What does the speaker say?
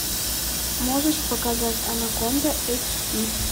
можешь показать анаконда эйч ди